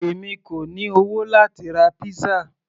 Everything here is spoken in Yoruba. èmi kò ní owó láti ra pizza